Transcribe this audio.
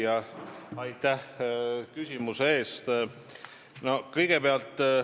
Hea küsija, aitäh küsimuse eest!